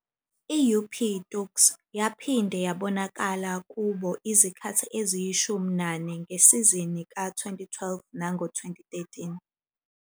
I-UP Tuks yaphinde yabonakala kubo izikhathi eziyishumi nane ngesizini ka- 2012 nango- 2013.